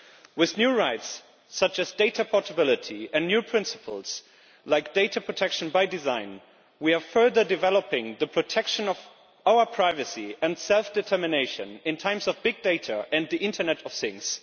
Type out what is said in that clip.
With new rights such as data portability and new principles like data protection by design, we are further developing the protection of our privacy and self determination in times of big data and the internet of things.